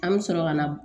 An bɛ sɔrɔ ka na